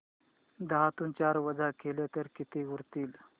दहातून चार वजा केले तर किती उरतील